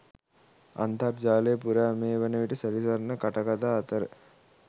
අන්තර්ජාලය පුරා මේ වනවිට සැරිසරණ කටකථා අතර